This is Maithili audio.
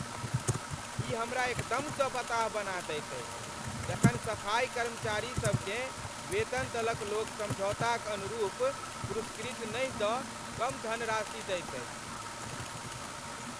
ई हमरा एकदमसँ बताह बना दैत अछि जखन सफाइ कर्मचारी सबकेँ वेतन दलक लोक समझौताक अनुरूप पुरस्कृत नहि दऽ कम धनराशि दैत अछि।